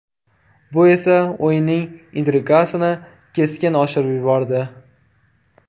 Bu esa o‘yinning intrigasini keskin oshirib yubordi.